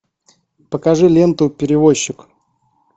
покажи ленту перевозчик